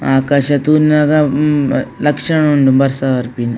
ಆಕಾಶ ತೂನಗ ಹ್ಮ್ ಲಕ್ಷಣ ಉಂಡು ಬರ್ಸ ಬರ್ಪಿನ.